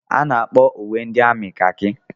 A na-akpọ uwe ndị amị kakị